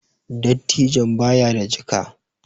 Dattijon ba ya da jika